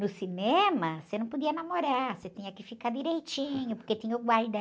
No cinema, você não podia namorar, você tinha que ficar direitinho, porque tinha o guarda